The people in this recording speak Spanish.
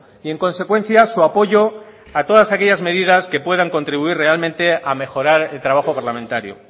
y en consecuencia su apoyo a todas aquellas medidas que puedan contribuir realmente a mejorar el trabajo parlamentario